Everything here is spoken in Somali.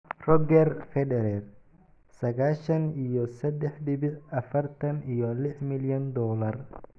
Roger Federer sagashan iyo sedex dibic afartan iyo lix milyan dolar